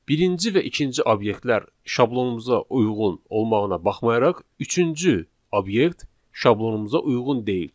Birinci və ikinci obyektlər şablonumuza uyğun olmağına baxmayaraq, üçüncü obyekt şablonumuza uyğun deyil.